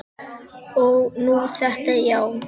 Og nú þetta, já.